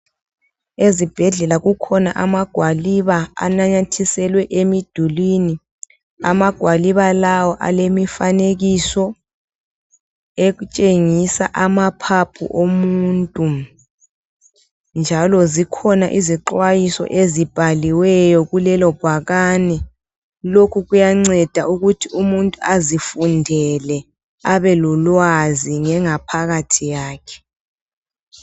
ezibhedlela kukhona amagwaliba ananyathiselwe emidulini amagwaliba lawa alemifanekiso etshengisa amaphaphu omuntu njalo zikhona izixwayiso ezibhaliweyo kulelo bhakane lokhu kuyanceda ukuthi umuntu azifundele abe lolwazi ngengaphakathi yakhe